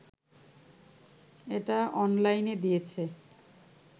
এটা অনলাইনে দিয়েছে